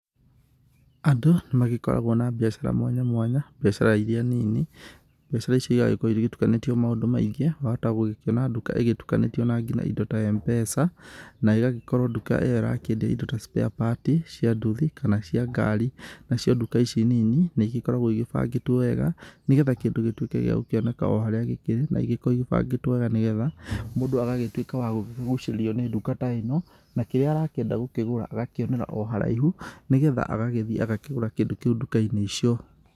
Andu nĩ magĩkoragwo na mbiacara mwanya mwanya mbiacara iria nini. Mbiacara icio igagĩkorwo itukanĩtio maũndũ maingĩ, wahota gũkĩona nduka ĩgĩtukanĩtio na indo nginya ta M-Pesa nayo ĩgagĩkorwo nduka ĩyo ĩrakĩendia indo ta sparepart cia nduthi .kana cia ngari. Na cio nduka ici nini nĩ igĩkoragwo igĩ bangĩtwo wega, nĩ getha kĩndũ gĩgĩtuĩke gĩagũkioneka oharĩa gĩkĩrĩ. Na igĩkoragwo igĩbangĩtwo wega ni getha mũndũ agagĩtuĩka wa gũkĩgucĩrĩrio nĩnduka ta ĩno na kĩrĩa arakĩenda gũkĩgura agakĩonera o haraihu nĩ getha agathiĩ agakĩgũra kĩndũ kĩu nduka-inĩ icio.